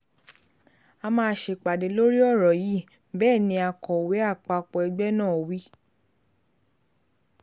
a máa ṣèpàdé lórí ọ̀rọ̀ yìí bẹ́ẹ̀ ni akọ̀wé àpapọ̀ ẹgbẹ́ náà wí